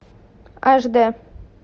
аш д